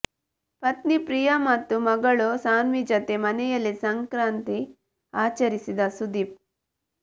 ಪತ್ನಿ ಪ್ರಿಯಾ ಮತ್ತು ಮಗಳು ಸಾನ್ವಿ ಜತೆ ಮನೆಯಲ್ಲಿ ಸಂಕ್ರಾಂತಿ ಆಚರಿಸಿದ ಸುದೀಪ್